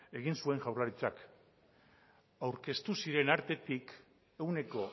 egin zuen jaurlaritzak aurkeztu zirenen artetik ehuneko